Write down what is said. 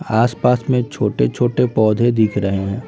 आस-पास में छोटे-छोटे पौधे दिख रहे हैं।